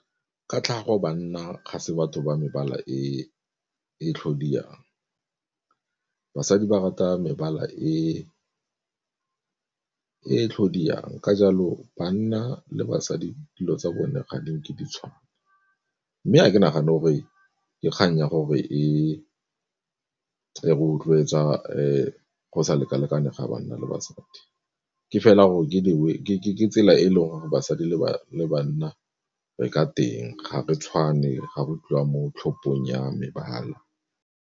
Ka tlhago banna ga se batho ba mebala e tlhodiyang, basadi ba rata mebala e e tlhodiyang ka jalo banna le basadi dilo tsa bone ga di nke di tshwana. Mme ga ke nagane gore ke kgang ya gore e rotloetsa go sa lekalekane ga banna le basadi ke fela gore ke dingwe ke tsela e e leng gore basadi le banna re ka teng ga re tshwane ga go tliwa mo tlhopong ya mebala.